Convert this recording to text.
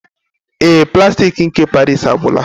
Ee, plastik nke paris agwụla